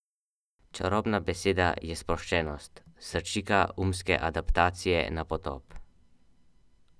Tristano je vstal in skozi zavese na oknu skrivaj pogledal na trg Plaka.